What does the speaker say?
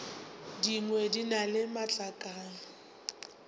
dingwe di na le matlakala